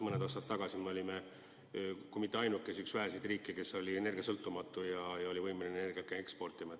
Mõned aastad tagasi me olime kui mitte ainuke, siis üks väheseid riike, kes oli energiasõltumatu ja võimeline energiat ka eksportima.